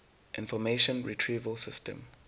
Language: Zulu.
information retrieval system